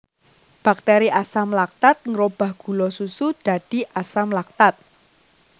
Bakteri Asam laktat ngrobah gula susu dadi asam laktat